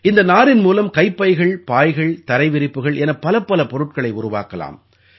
இந்த நாரின் மூலம் கைப்பைகள் பாய்கள் தரை விரிப்புகள் என பலப்பல பொருட்களை உருவாக்கலாம்